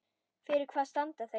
Fyrir hvað standa þeir?